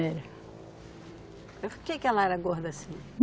Era. Por que que ela era gorda assim?